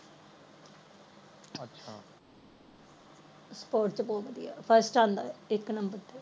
sports ਚ ਬਹੁਤ ਵਧਿਆ first ਇਕ number ਤੇ